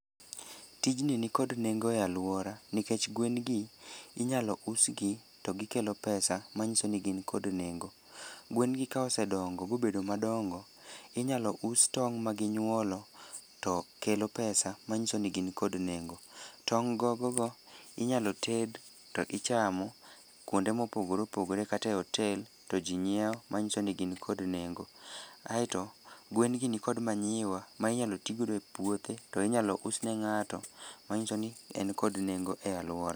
Tijni nikod nengo e alwora, nikech gwen gi inyalo us gi, to gikelo pesa ma nyiso ni gin kod nengo. Gwen gi ka osedongo ma obedo madongo, inyalo us tong' ma ginywolo, to kelo pesa ma nyiso ni gin kod nengo. Tong' gogo go inyalo ted to ichamo, kuonde mopogore opogore kata e otel, to ji nyiewo manyiso ni gin kod nengo. Aeto gwen gi nikod manyiwa ma inyalo ti godo e puothe, to inyalo us ne ngáto manyiso ni en kod nengo e alwora.